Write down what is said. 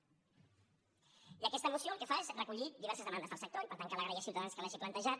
i aquesta moció el que fa és recollir diverses demandes del sector i per tant cal agrair a ciutadans que l’hagi plantejat